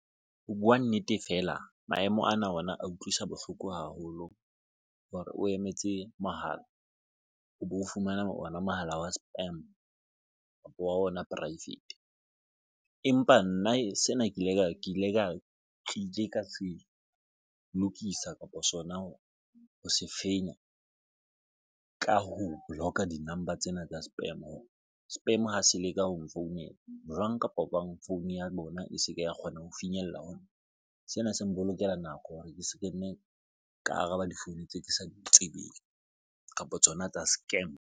Ho buwa nnete, fela, maemo ana ona a utlwisa bohloko haholo hore o emetse mohala, o bo fumana ona mohala wa spam kapa wa ona private empa nna sena ke ile ka se lokisa kapa sona ha ho se fenya ka ho boloka di-number tsena tsa spam call spam ha se leka ho nfounela jwang kapa jwang. Founu ya bona e se ke ya kgona ho finyella ho sena. Se mpolokela nako hore ke se ke nne ka araba difounu tse ke sa di tsebeng kapa tsona tsa scam.